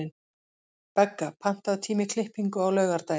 Begga, pantaðu tíma í klippingu á laugardaginn.